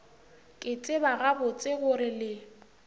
ke tseba gabotse gore le